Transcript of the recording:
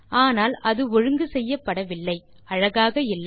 ஆனால் அது ஒழுங்கு செய்யப்படவில்லை அழகாக இல்லை